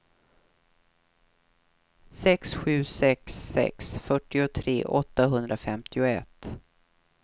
sex sju sex sex fyrtiotre åttahundrafemtioett